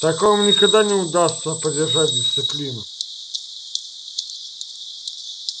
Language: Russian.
так вам никогда не удастся поддержать дисциплину